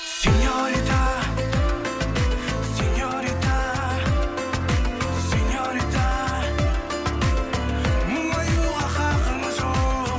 сеньорита сеньорита сеньорита мұңаюға хақың жоқ